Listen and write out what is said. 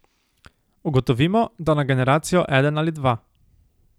Ugotovimo, da na generacijo eden ali dva.